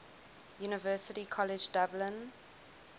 university college dublin